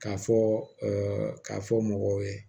K'a fɔ k'a fɔ mɔgɔw ye